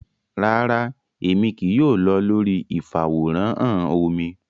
Rara, Emi kii yoo lọ lori ifaworanhan omí